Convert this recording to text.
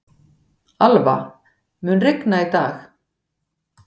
Alva, mun rigna í dag?